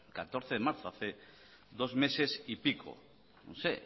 catorce de marzo hace dos meses y pico